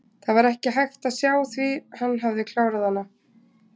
Það var ekki hægt að sjá því hann hafði klárað hana.